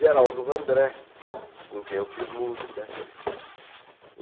Geraldo Vandré, com quem eu fiz música.